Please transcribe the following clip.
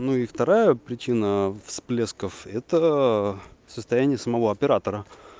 ну и вторая причина всплесков это состояние самого оператора